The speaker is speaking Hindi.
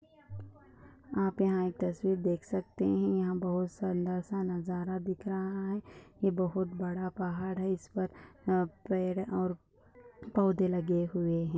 आप यहां एक तस्वीर देख सकते हैं यहां बहुत सुंदर सा नजारा दिख रहा है ये बहुत बड़ा पहाड़ है इस पर पेड़ और पौधे लगे हुए हैं।